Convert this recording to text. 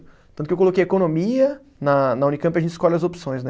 Tanto que eu coloquei economia, na na Unicamp a gente escolhe as opções, né?